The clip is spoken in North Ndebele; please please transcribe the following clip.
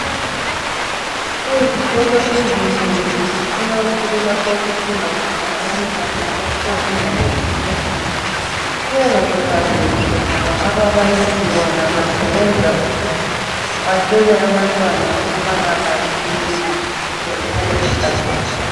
Ezikolo ezinengi, ikakhulu lapho okufunda khona abantwana abasezingeni eliphezulu. Kuyabe kuhlanzekile ngoba ababalisi bona basebenza ukuthi batshele abantwana ukubana bakline kukhanye kuhlanzekile.